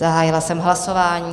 Zahájila jsem hlasování.